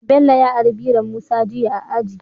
Bello ya ari biron musa jiya a aji